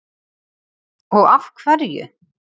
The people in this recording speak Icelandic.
Og af hverju?